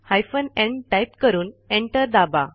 hyphen n type करून enter दाबा